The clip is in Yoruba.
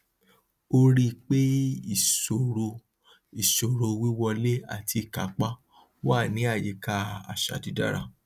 ó rí pé ìṣòro ìṣòro wíwọlé àti ìkápá wà ní àyíká àṣà dídára